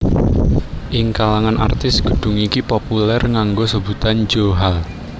Ing kalangan artis gedung iki populer nganggo sebutan Jo Hall